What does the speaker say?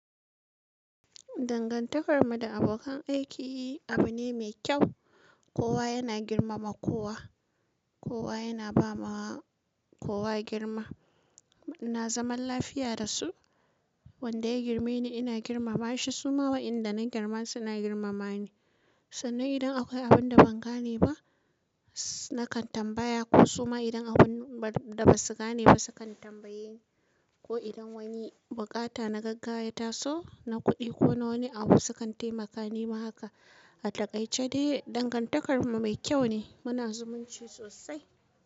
Dangantakar mu da abokan aiki abu ne mai kyau. Kowa yana girmama kowa. Kowa yana ba ma kowa girma. Ina zaman lafiya da su. Wanda ya girmeni ina girmama shi. Su ma wa in da na girma suna girmama ni. Sannan idan akwai abun da ban gane ba nakan tambaya. Ko suma idan abun da ba su gane ba su kan tambaye ni. Ko idan wani buƙata na gaggawa yata so na kuɗi ko na wani abu su kan taimaka ni ma haka. A takaice dai dangantakar mu mai kyau ne. Muna zumunci sosai.